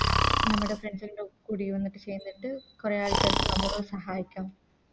നമ്മുടെ Friends ൻറെ കൂടി ഒന്നിട്ട് ചേർന്നിട്ട് കൊറേ ആൾക്കാർക്ക് നമ്മളും സഹായിക്കാം